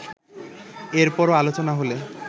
এর পরও আলোচনা হলে